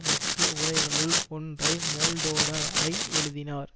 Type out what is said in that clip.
முக்கிய உரைகளுள் ஒன்றை மோல்டோரர் ஐ எழுதினார்